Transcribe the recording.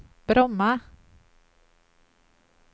Bromma